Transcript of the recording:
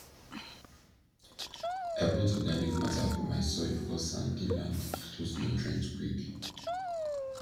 i put organic matter for my soil because sandy land dey lose nutrient quick